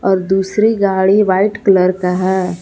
और दूसरी गाड़ी वाइट कलर का है।